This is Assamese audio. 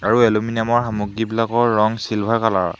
আৰু এলুমিনিয়াম ৰ সামগ্ৰীবিলাকৰ ৰঙ চিলভাৰ কালাৰ ৰ।